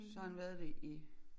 Så har han været det i